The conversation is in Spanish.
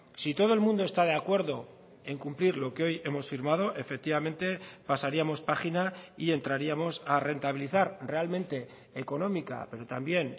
si todo el mundo está de acuerdo en cumplir lo que hoy hemos firmado efectivamente pasaríamos página y entraríamos a rentabilizar realmente económica pero también